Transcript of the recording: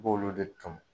I b'olu de ton